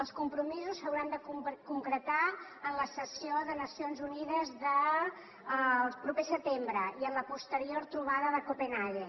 els compromisos s’hauran de concretar en la sessió de nacions unides del proper setembre i en la posterior trobada de copenhaguen